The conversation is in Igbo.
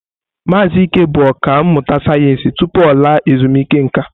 Maazị Ike bụ ọkà mmụta sayensị tupu ọ laa ezumike nka.